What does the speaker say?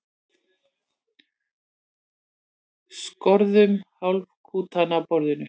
Skorðum hálfkúluna á borðinu.